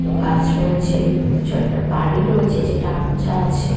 কিছু গাছ রয়েছে এবং কিছু একটা বাড়ি রয়েছে যেটা আবছা আছে।